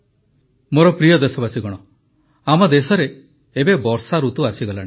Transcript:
ମୋର ପ୍ରିୟ ଦେଶବାସୀଗଣ ଆମ ଦେଶରେ ଏବେ ବର୍ଷାଋତୁ ଆସିଗଲାଣି